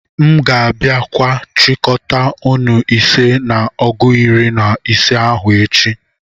M'gābia kwa chikọta nnù ise na ọgu iri-na-ise ahu echi.